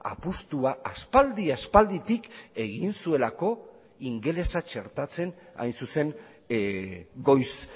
apustua aspaldi aspalditik egin zuelako ingelesa txertatzen hain zuzen goiz